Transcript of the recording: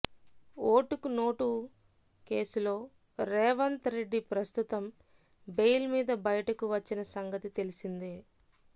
ఓటుకు నోటు కేసులో రేవంత్ రెడ్డి ప్రస్తుతం బెయిల్ మీద బయటకు వచ్చిన సంగతి తెలిసిందే